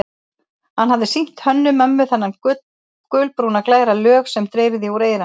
Hann hafði sýnt Hönnu-Mömmu þennan gulbrúna, glæra lög sem dreyrði úr eyranu.